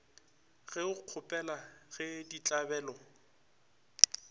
ge o kgopela ge ditlabelo